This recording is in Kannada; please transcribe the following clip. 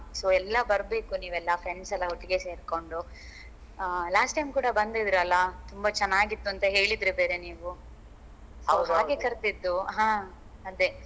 So ಎಲ್ಲಾ ಬರ್ಬೇಕು ನೀವ್ ಎಲ್ಲ friends ಎಲ್ಲ ಒಟ್ಟಿಗೆ ಸೇರ್ಕೊಂಡು ಅಹ್ last time ಕೂಡ ಬಂದಿದ್ರಲ್ಲ ತುಂಬಾ ಚೆನ್ನಾಗಿತ್ತು ಅಂತ ಹೇಳಿದ್ರಿ ಬೇರೆ ನೀವು ಹಾಗೆ ಕರ್ದಿದ್ದು ಹಾ ಅದೆ